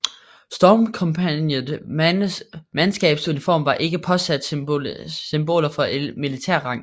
Stormkompagniets mandskabuniform var ikke påsat symboler for militær rang